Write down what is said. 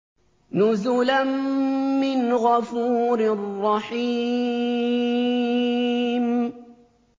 نُزُلًا مِّنْ غَفُورٍ رَّحِيمٍ